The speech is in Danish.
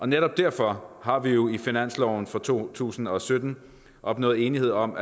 netop derfor har vi jo i finansloven for to tusind og sytten opnået enighed om